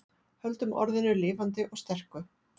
Höldum orðinu lifandi og sterku